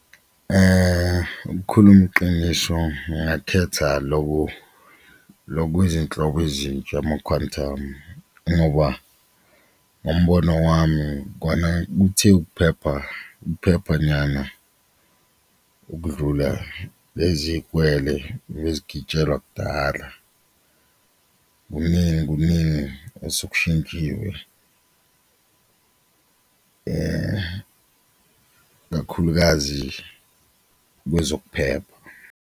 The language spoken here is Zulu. Ukhuluma iqiniso ngingakhetha loku lo kwezinhlobo ezintsha ama-Quantum ngoba umbono wami kona kuthe ukuphepha ukuphepha nyana ukudlula lezi y'kwele ebezigitshelwa kudala, kuningi kuningi osokushintshiwe kakhulukazi kwezokuphepha.